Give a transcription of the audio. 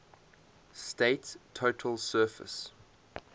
state's total surface